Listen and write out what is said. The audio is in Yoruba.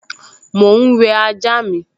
Mò ún wẹ ajá mi